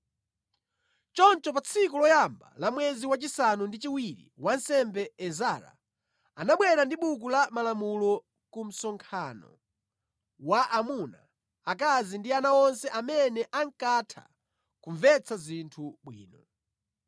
Choncho pa tsiku loyamba la mwezi wachisanu ndi chiwiri wansembe Ezara, anabwera ndi buku la malamulo ku msonkhano wa amuna, akazi ndi ana onse amene ankatha kumvetsa zinthu bwino.